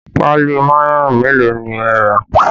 Páálí mayonẹ mélòó ni ẹ rà?